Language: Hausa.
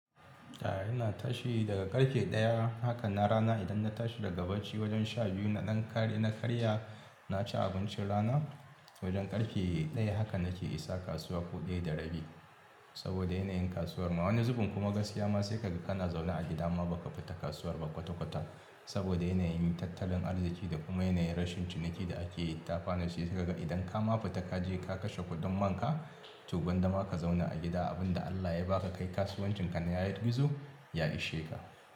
Ya'ina tashi daga karfe daya haka na rana idan na tashi daga bacci wajen sha biyu na ɗan kare na karya, na ci abincin rana wajen karfe daya haka nake isa kasuwa ko daya da rabi saboda yanayin kasuwar mu. Wani zubin kuma gaskiya ma sai kaga kana zaune a gida ma baka fita kasuwar ba kwata-kwata saboda yanayin tattalin arziki da kuma yanayin rashin ciniki da ake yi. Ta kwana sai kaga idan ka ma fita kaje ka kashe kuɗin man ka, to gwanda ma ka zauna a gida abin da Allah ya ba ka kai kasuwancin ka na ya yi gizo, ya ishe ka.